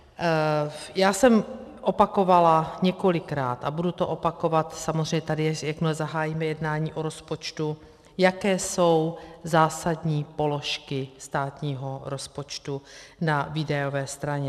Já jsem opakovala několikrát a budu to opakovat samozřejmě tady, jakmile zahájíme jednání o rozpočtu, jaké jsou zásadní položky státního rozpočtu na výdajové straně.